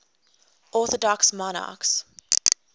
orthodox monarchs